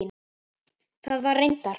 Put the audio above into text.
Það var reyndar